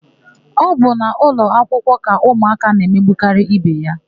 Ọ bụ n'ụlọakwụkwọ ka ụmụaka na-emegbukarị ibe ha.